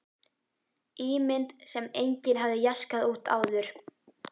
Ímynd sem enginn hafði jaskað út áður.